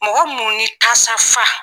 Mɔgɔ mun ni tasa fa.